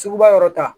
Sugu ba yɔrɔ ta